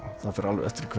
það fer